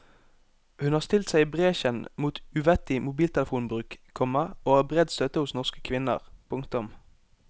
Hun har stilt seg i bresjen mot uvettig mobiltelefonbruk, komma og har bred støtte hos norske kvinner. punktum